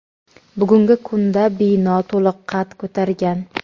bugungi kunda bino to‘liq qad ko‘targan.